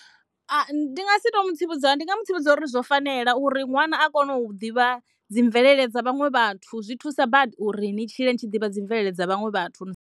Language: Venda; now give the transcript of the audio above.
Ndi nga si to mu tsivhudza, ndi nga mu tsivhudza uri zwo fanela uri ṅwana a kone u ḓivha dzi mvelele dza vhaṅwe vhathu zwi thusa badi uri ni tshile ni tshi ḓivha dzi mvelele dza vhaṅwe vhathu.